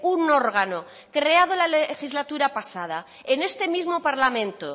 un órgano creado la legislatura pasada en este mismo parlamento